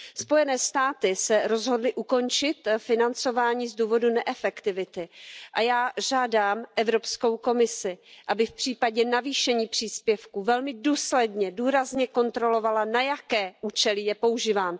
Spojené státy se rozhodly ukončit financování z důvodu neefektivity a já žádám Evropskou komisi, aby v případě navýšení příspěvku velmi důsledně, důrazně kontrolovala, na jaké účely je používán.